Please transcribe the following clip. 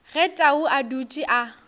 ge tau a dutše a